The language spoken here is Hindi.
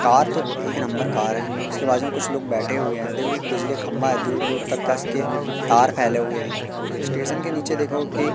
कार तो एक नंबर कार है उसके बाजू में कुछ लोग बैठे हुए हैं देखो बिजली खंभा है दूर दूर तक इसके तार फैले हुए हैं स्टेशन के नीचे देखो की--